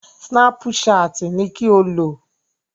Snapchat ni kí o lò!